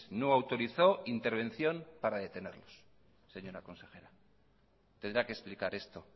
no autorizó intervención para detenerlos señora consejera tendrá que explicar esto